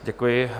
Děkuji.